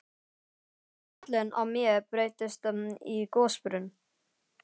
Skallinn á mér breytist í gosbrunn.